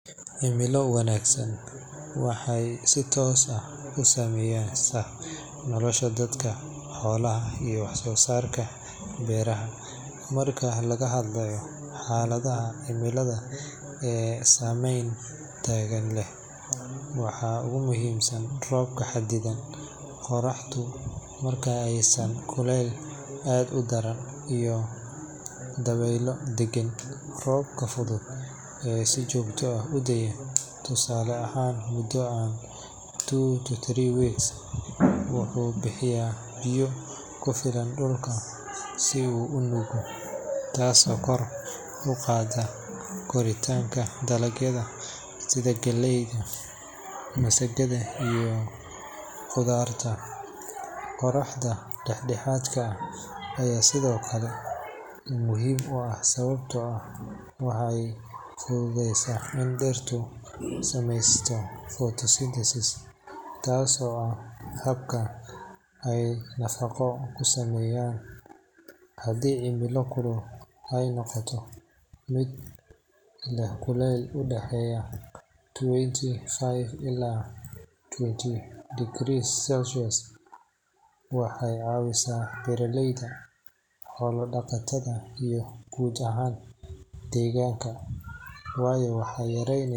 Cimilo wanaagsan waxay si toos ah u saameysaa nolosha dadka, xoolaha, iyo wax-soo-saarka beeraha. Marka laga hadlayo xaaladaha cimilo ee saameyn togan leh, waxaa ugu muhiimsan roobka xadidan, qorraxdu marka aysan kulayn aad u daran, iyo dabaylo deggan. Roobka fudud ee si joogto ah u da’a, tusaale ahaan mudo ah two to three weeks, wuxuu bixiyaa biyo ku filan dhulka si uu u nuugo, taasoo kor u qaadaysa koritaanka dalagyada sida galleyda, masagada iyo khudaarta. Qorraxda dhexdhexaadka ah ayaa sidoo kale muhiim u ah sababtoo ah waxay fududeysaa in dhirta ay samaysato photosynthesis, taasoo ah habka ay nafaqada ku samayso. Haddii cimilo kulul ay noqoto mid leh kulayl u dhexeeya twenty five ilaa thirty degrees Celsius, waxay caawisaa beeraleyda, xoolo-dhaqatada, iyo guud ahaan deegaanka, waayo waxay yareyne.